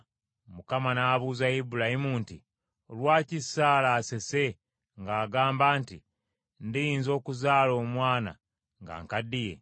Mukama n’abuuza Ibulayimu nti, “Lwaki Saala asese ng’agamba nti, ‘Ndiyinza okuzaala omwana nga nkaddiye?’